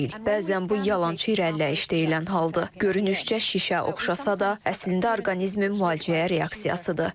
Bəzən bu yalançı irəliləyiş deyilən haldır, görünüşcə şişə oxşasa da, əslində orqanizmin müalicəyə reaksiyasıdır.